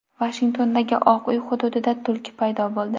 Vashingtondagi Oq uy hududida tulki paydo bo‘ldi.